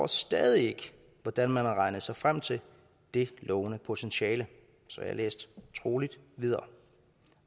stadig ikke hvordan man har regnet sig frem til det lovende potentiale så jeg læste troligt videre